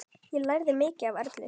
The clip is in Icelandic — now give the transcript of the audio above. Ég lærði mikið af Erlu.